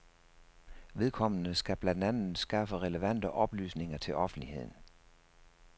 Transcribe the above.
Vedkommende skal blandt andet skaffe relevante oplysninger til offentligheden.